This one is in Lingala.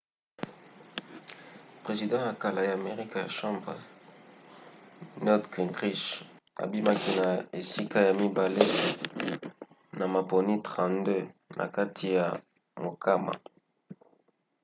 president ya kala ya amerika ya chambre newt gingrich abimaki na esika ya mibale na maponi 32 na kati ya mokama